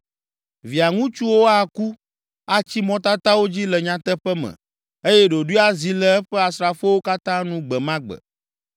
Via ŋutsuwo aku, atsi mɔtatawo dzi le nyateƒe me, eye ɖoɖoe azi le eƒe asrafowo katã nu gbe ma gbe.